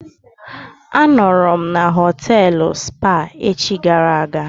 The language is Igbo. A nọọrọ na họtelụ Spa echi gara aga.